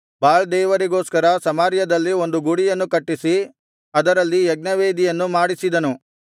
ಬಾಳ್ ದೇವರಿಗೋಸ್ಕರ ಸಮಾರ್ಯದಲ್ಲಿ ಒಂದು ಗುಡಿಯನ್ನು ಕಟ್ಟಿಸಿ ಅದರಲ್ಲಿ ಯಜ್ಞವೇದಿಯನ್ನು ಮಾಡಿಸಿದನು